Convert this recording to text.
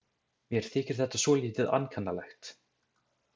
Mér þykir þetta svolítið ankannalegt.